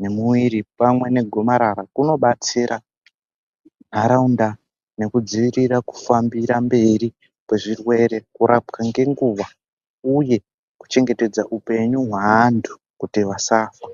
mwemiri pamwe negomarara kunobatsira nhanharaunda nekudzivirira kufambira mberi kwezvirwere, kurapwa ngenguwa uye kuchengetedza upenyu hwavantu kuti vasafa.